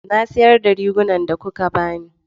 Na sayar da rigunan da kuka ba ni.